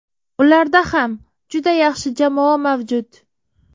Ularda ham juda yaxshi jamoa mavjud.